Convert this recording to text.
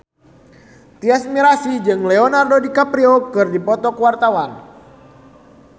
Tyas Mirasih jeung Leonardo DiCaprio keur dipoto ku wartawan